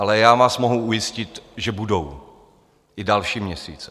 Ale já vás mohu ujistit, že budou i další měsíce.